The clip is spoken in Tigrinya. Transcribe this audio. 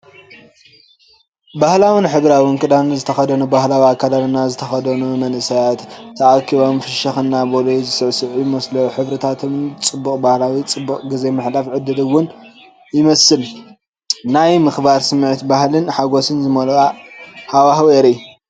ባህላውን ሕብራዊን ክዳን ዝተኸድኑ፡ ባህላዊ ኣከዳድና ዝተኸደኑ መንእሰያት ተኣኪቦም ፍሽኽ እናበሉ ዝስዕዝዑ ይመስሉ። ሕብርታቶም ጽቡቕን ባህላውን ፣፡ ጽቡቕ ግዜ ንምሕላፍ ዕድል ውን ይመስል። ናይ ምክብባርን ስምዒት፡ ባህልን ሓጎስን ዝመልኦ ሃዋህው የርኢ።